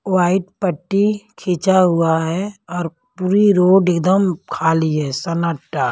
White पट्टी खींचा हुआ है और पूरी रोड एकदम खाली है सन्नाटा।